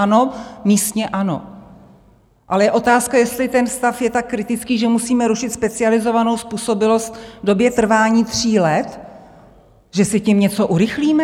Ano, místně ano, ale je otázka, jestli ten stav je tak kritický, že musíme rušit specializovanou způsobilost v době trvání tří let, že si tím něco urychlíme?